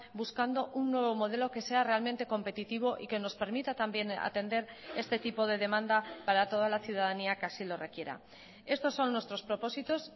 buscando un nuevo modelo que sea realmente competitivo y que nos permita también atender este tipo de demanda para toda la ciudadanía que así lo requiera estos son nuestros propósitos